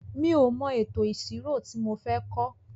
Mi ò mọ ètò ìṣirò ti mo fẹ́ kọ́.